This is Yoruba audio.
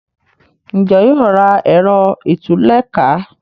Njé yóò rà Ẹ̀rọ ìtúlẹ̀ká?